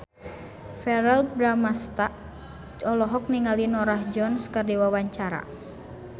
Verrell Bramastra olohok ningali Norah Jones keur diwawancara